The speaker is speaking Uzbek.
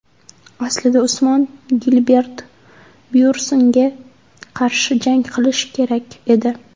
Aslida Usmon Gilbert Byornsga qarshi jang qilishi kerak edi.